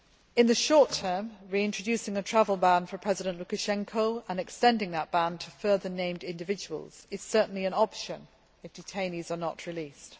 In the short term, reintroducing a travel ban for President Lukashenko, and extending that ban to further named individuals, is certainly an option if detainees are not released.